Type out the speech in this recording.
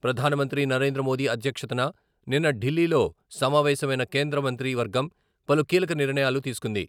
ప్రధానమంత్రి నరేంద్రమోదీ అధ్యక్షతన నిన్న ఢిల్లీలో సమావేశమైన కేంద్రమంత్రి వర్గం పలు కీలక నిర్ణయాలు తీసుకుంది.